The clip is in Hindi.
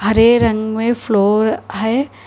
हरे रंग में फ्लोर है।